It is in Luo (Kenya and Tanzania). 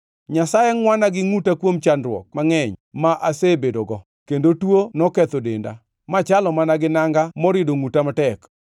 Nyasaye ngʼwana gi ngʼuta kuom chandruok mangʼeny ma asebedogo kendo tuo noketho denda, machalo mana gi nanga morido ngʼuta matek.